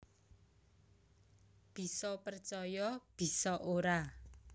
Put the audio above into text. Bisa percaya bisa ora